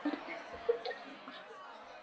Ofan við kirkjugarðinn á Sauðafelli er hóll.